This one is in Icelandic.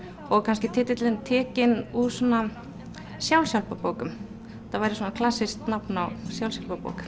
og kannski titillinn tekinn úr sjálfshjálparbókum þetta væri klassískt nafn á